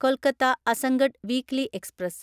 Kolkata Azamgarh weekly express